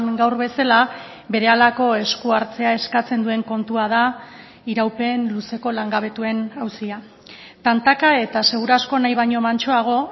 gaur bezala berehalako esku hartzea eskatzen duen kontua da iraupen luzeko langabetuen auzia tantaka eta seguru asko nahi baino mantsoago